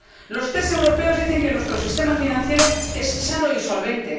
Los tests europeos dicen que nuestro sistema financiero es sano y solvente.